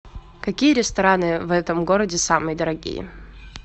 какие рестораны в этом городе самые дорогие